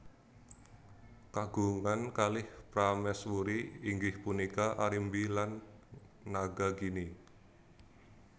Kagungan kalih prameswuri inggih punika Arimbi lan Nagagini